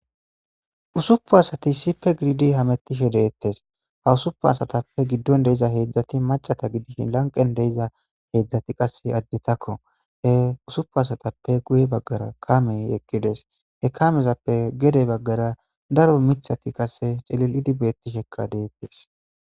Ussupun assati issippe giididi hammettishe de'ettes ha ussupun assappe giidon diiza heezhzhaati macca giddishin lanqqen deiiza heezhzhaati qasse addetako he ussupun assatape guyye baggara kaamey eqqides he kaamezappe geede baggara daaro miththati qasse ciililidi bettisheka de'ettes.